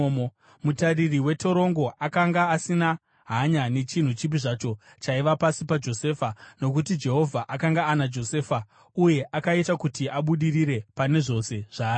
Mutariri wetorongo akanga asina hanya nechinhu chipi zvacho chaiva pasi paJosefa, nokuti Jehovha akanga ana Josefa uye akaita kuti abudirire pane zvose zvaaiita.